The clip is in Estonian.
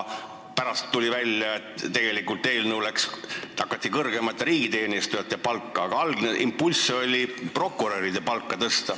Pärast tuli küll välja, et tegelikult tõsteti kõrgemate riigiteenistujate palka, ehkki algne impulss oli tõsta prokuröride palka.